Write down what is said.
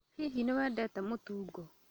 Hihi nĩwendete mũtungo?